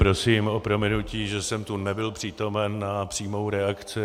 Prosím o prominutí, že jsem tu nebyl přítomen na přímou reakci.